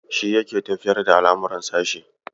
Shi yake tafiyar da al'amuran sashe.